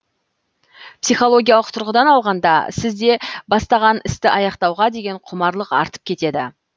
психологиялық тұрғыдан алғанда сізде бастаған істі аяқтауға деген құмарлық артып кетеді